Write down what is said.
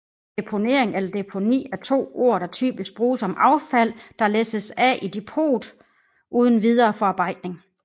Deponering eller deponi er to ord der typisk bruges om affald der læsses af i depot uden videre forarbejdning